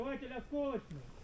Partlayıcı qəlpəli.